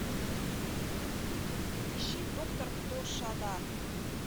ищи доктор кто шада